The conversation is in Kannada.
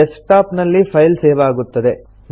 ಡೆಸ್ಕ್ ಟಾಪ್ ನಲ್ಲಿ ಫೈಲ್ ಸೇವ್ ಆಗುತ್ತದೆ